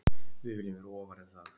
Við viljum vera ofar en það